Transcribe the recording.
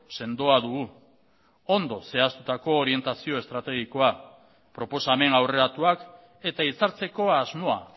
sendoa dugu ondo zehaztutako orientazio estrategikoa proposamen aurreratuak eta itzartzeko asmoa